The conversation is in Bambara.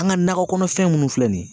An ŋa nakɔ kɔnɔfɛn munnu filɛ nin ye